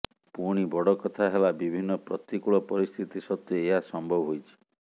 ପୁଣି ବଡ଼ କଥା ହେଲା ବିଭିନ୍ନ ପ୍ରତିକୂଳ ପରିସ୍ଥିତି ସତ୍ତ୍ବେ ଏହା ସମ୍ଭବ ହୋଇଛି